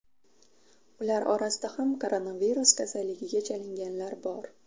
Ular orasida ham koronavirus kasalligiga chalinganlar bor.